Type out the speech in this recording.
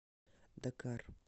дакар